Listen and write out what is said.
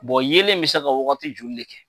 yeelen bɛ se ka wagati joli de kɛ ?